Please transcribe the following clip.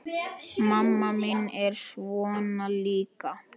Mamma mín er svona líka.